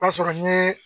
O b'a sɔrɔ n ye